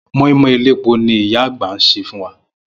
Mó̩ínmó̩ín elépo ni ìyá àgbà sè fún wa